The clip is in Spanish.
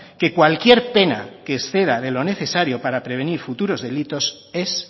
que cualquier pena que exceda de lo necesario para prevenir futuros delitos es